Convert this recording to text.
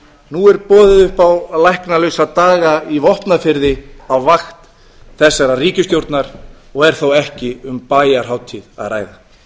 nú er boðið upp á læknalausa daga í vopnafirði á vakt þessarar ríkisstjórnar og er þó ekki um bæjarhátíð að ræða